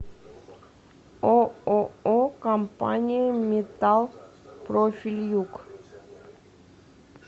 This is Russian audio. ооо компания металл профиль юг